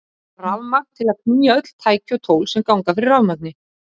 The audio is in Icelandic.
Það þarf rafmagn til að knýja öll tæki og tól sem ganga fyrir rafmagni.